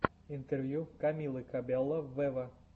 интервью камилы кабелло вево